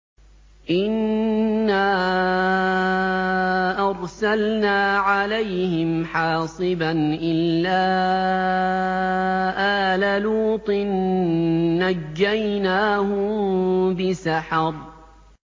إِنَّا أَرْسَلْنَا عَلَيْهِمْ حَاصِبًا إِلَّا آلَ لُوطٍ ۖ نَّجَّيْنَاهُم بِسَحَرٍ